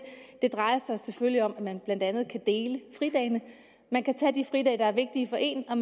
det drejer sig selvfølgelig om at man blandt andet kan dele fridagene man kan tage de fridage der er vigtige for en og